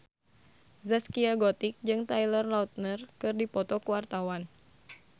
Zaskia Gotik jeung Taylor Lautner keur dipoto ku wartawan